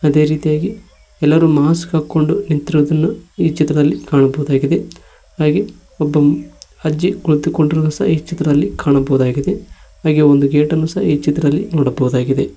ಇದೇ ರೀತಿಯಾಗಿ ಎಲ್ಲರೂ ಮಾಸ್ಕ್ ಹಾಕೊಂಡು ನಿಂತಿರುವುದನ್ನು ಈ ಚಿತ್ರದಲ್ಲಿ ಕಾಣಬಹುದಾಗಿದೆ ಹಾಗೆ ಒಬ್ಬ ಅಜ್ಜಿ ಕುಳಿತುಕೊಂಡಿರುವುದನ್ನು ಸಹ ಈ ಚಿತ್ರದಲ್ಲಿ ಕಾಣಬಹುದಾಗಿದೆ ಹಾಗೆ ಒಂದು ಗೇಟ್ ಅನ್ನು ಸಹ ಈ ಚಿತ್ರದಲ್ಲಿ ನೋಡಬಹುದು ಆಗಿದೆ.